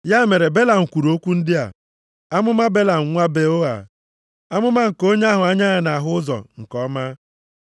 Ya mere Belam kwuru okwu ndị a: “Amụma Belam nwa Beoa, amụma nke onye ahụ anya ya nʼahụ ụzọ nke ọma,